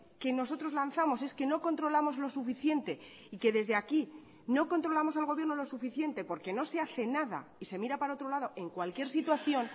que nosotros lanzamos es que no controlamos lo suficiente y que desde aquí no controlamos al gobierno lo suficiente porque no se hace nada y se mira para otro lado en cualquier situación